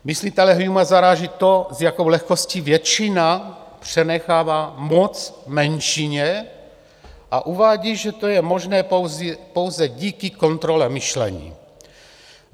Myslitele Humea zaráží to, s jakou lehkostí většina přenechává moc menšině, a uvádí, že to je možné pouze díky kontrole myšlení.